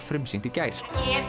frumsýnt í gær